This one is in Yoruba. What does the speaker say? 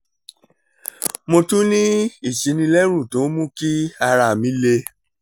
mo tún ní ìsínilérùn tó ń mú kí ara mi le